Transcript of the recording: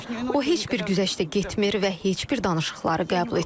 O heç bir güzəştə getmir və heç bir danışıqları qəbul etmir.